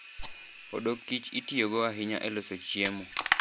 Odok kich itiyogo ahinya e loso chiemo.